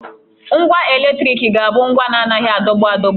Ngwa eletriki na-abụ ngwa na-anaghị adọgbu adọgbu